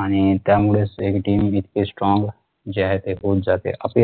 आणि त्यामुळेच ते हि team जितकी strong जे आहे ते होऊन जाते